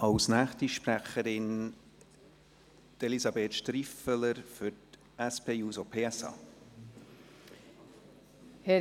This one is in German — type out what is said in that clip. Als nächste Sprecherin hat Elisabeth Striffeler für SP-JUSO-PSA-Fraktion das Wort.